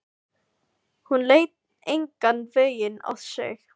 Hún leit engan veginn á sig.